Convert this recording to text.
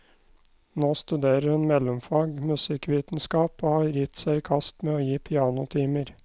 Nå studerer hun mellomfag musikkvitenskap, og har gitt seg i kast med å gi pianotimer.